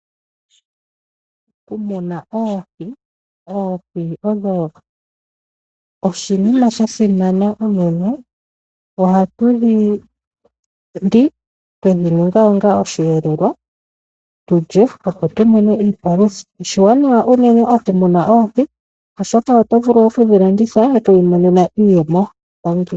Okumuna oohi Oohi odho oshinima sha simana unene. Ohatu dhi li twe dhi ninga osheelelwa, tu lye, opo tu mone iipalutha. Oshiwanawa unene okumuna oohi, oshoka oto vulu okudhi landitha oku imonena iiyemo.